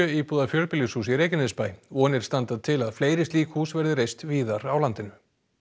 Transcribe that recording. íbúða fjölbýlishús í Reykjanesbæ vonir standa til að fleiri slík hús verði reist víðar á landinu